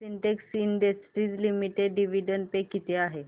Sintex industries limited dividend pay किती आहे